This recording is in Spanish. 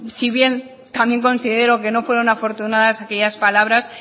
si bien considero que no fueron afortunadas aquellas palabras